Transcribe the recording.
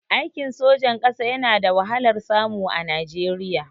Aikin sojan ƙasa yana da wahalar samu a Najeriya